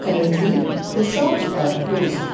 Currently the shops are closed.